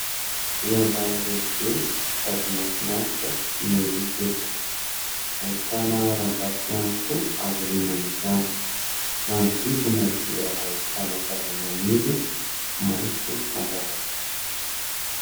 Riandrano lehibe no sady mahafinaritra no hita eto. Ahitana harambato ihany koa aorianan'izany. Manodidina dia ahitana zavamaniry maitso mandravaka azy.